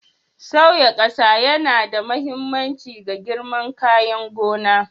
Sauya ƙasa yana da mahimmanci ga girman kayan gona.